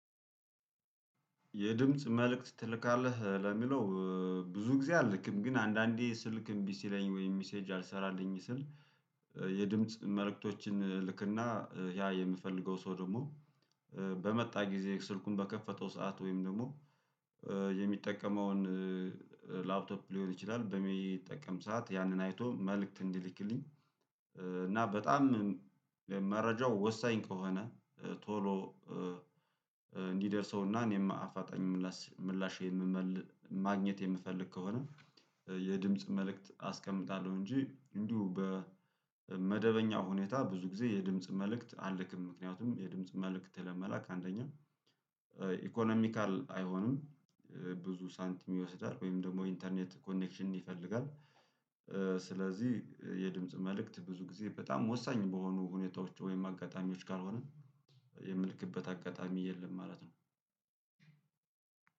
የድምጽ መልእክት ትልካለህ ለሚለው? ብዙ ጊዜ አልክም ግን አንዳንዴ ስልክ እምቢ ሲለኝ ወይም ሚሴጅ አልሰራልኝ ስል። የድምጽ መልእክቶችን እልክና ያ የምፈልገው ሰው ደግሞ። በመጣ ጊዜ ስልኩን በከፈተው ሰዓት ወይም ደግሞ የሚጠቀመውን ላፕቶፕ ሊሆን ይችላል በሚጠቀም ሰዓት ያንን አይቶ መልእክት እንዲልክልኝ። እና በጣም መረጃው ወሳኝ ከሆነ ቶሎ እንዲደርሰውና እኔም አፋጣኝ ምላሽ ማግኘት የምፈልግ ከሆነ የድምጽ መልእክት አስቀምጣለሁ። እንጂ እንዲሁ በመደበኛ ሁኔታ ብዙ ጊዜ የድምጽ መልእክት አልክም። ምክንያቱም የድምጽ መልክት ለመላክ አንደኛ ኢኮኖሚካል አይሆንም። ብዙ ሳንቲም ይወስዳል ወይም ደግሞ ኢንተርኔት ኮኔክሽን ይፈልጋል። ስለዚህ የድምጽ መልእክት ብዙ ጊዜ በጣም ወሳኝ በሆኑ ሁኔታዎች ወይም አጋጣሚዎች ካልሆንን የምልክበት አጋጣሚ የለም ማለት ነው።